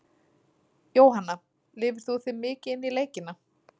Jóhanna: Lifir þú þig mikið inn í leikina?